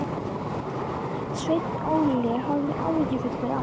Sveinn Óli horfði áhyggjufullur á mig.